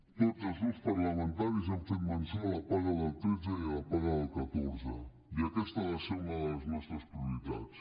tots els grups parlamentaris hem fet menció a la paga del tretze i a la paga del catorze i aquesta ha de ser una de les nostres prioritats